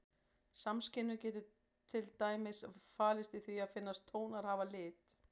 Samskynjun getur til dæmis falist í því að finnast tónar hafa lit.